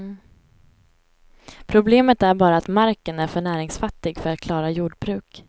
Problemet är bara att marken är för näringsfattig för att klara jordbruk.